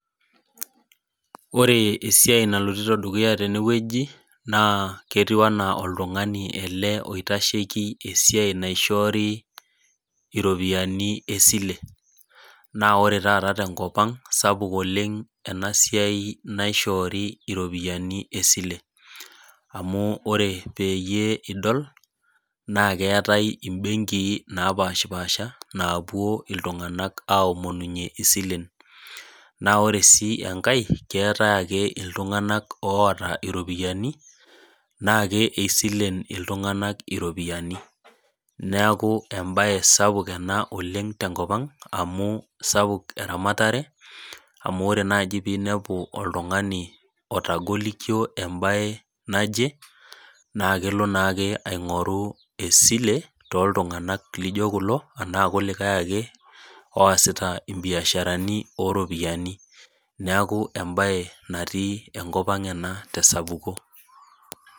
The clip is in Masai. Ore esiai nalotito dukuya tenewueji, naa ketiu enaa oltung'ani ele oitasheki esiai naishoori iropiyiani esile. Naa ore taata tenkop ang', sapuk oleng enasiai naishoori iropiyiani esile. Amu ore peyie idol, naa keetae ibenkii napashipasha, naapuo iltung'anak aomonunye isilen. Na ore si enkae, keetae ake iltung'anak oota iropiyiani, na kisilen iltung'anak iropiyiani. Neeku ebae sapuk ena oleng tenkop ang', amu sapuk eramatare, amu ore naji pinepu oltung'ani otagolikio ebae naje, na kelo naake aing'oru esile, toltung'anak lijo kulo, anaa kulikae ake oasita ibiasharani oropiyiani. Neeku ebae natii enkop ang' ena tesapuko.